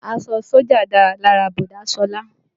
Aṣọ sójà dára lára bọ̀dá Sọlá